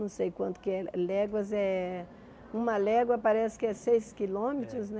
Não sei quanto que é. Léguas é... Uma légua parece que é seis quilômetros, né? É